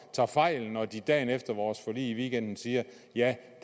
tager fejl når de dagen efter vores forlig i weekenden siger ja